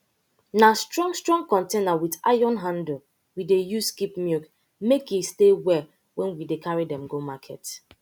na strong strong container with iron handle we dey use keep milk make e stay well wen we dey carry dem go market